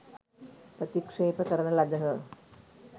ප්‍රතික්ෂේප කරන ලදහ.